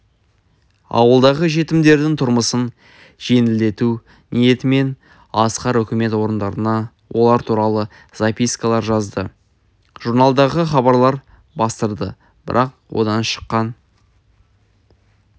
ауылдағы жетімдердің тұрмысын жеңілдету ниетімен асқар үкімет орындарына олар туралы запискалар жазды журналдарға хабарлар бастырды бірақ одан шыққан